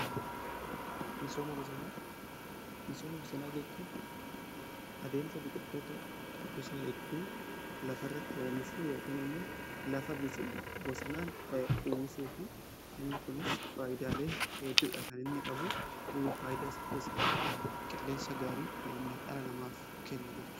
Misooma bosonaa jechuun adeemsa biqitoota gosa hedduu lafa irratti oomishuu yookin immoo lafa bosonaan uwwisuuti. Inni kunis faayidaalee hedduudha kan inni qabu. Faayidaa isaa keessaa tokko qilleensa gaarii dhala namaaf kenna jechu.